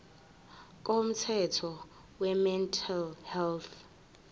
komthetho wemental health